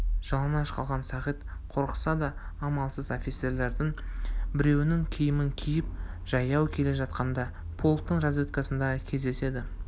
жалаңаш қалған сағит қорықса да амалсыз офицерлердің біреуінің киімін киіп жаяу келе жатқанында полктың разведкасына кездеседі